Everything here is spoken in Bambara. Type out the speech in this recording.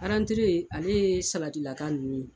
ale ye salatilaka ninnu ye